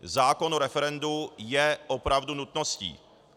Zákon o referendu je opravdu nutností.